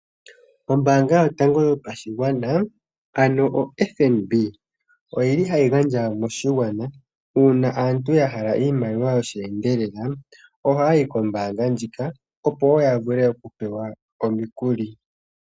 Ombaanga yotango yopashigwana ano oFNB oyili hayi gandja moshigwana uuna aantu yahala iimaliwa yo shi endelela, oha ya yi kombaanga ndjika opo wo yavule okupewa omikuli.